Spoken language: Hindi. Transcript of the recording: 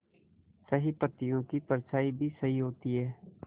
सही पत्तियों की परछाईं भी सही होती है